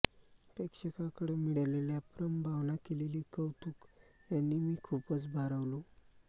प्रेक्षकाकडुन मिळालेल्या प्रम भावना केलेले कौतुक याने मी खूपच भारावलो